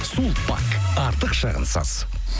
сулпак артық шығынсыз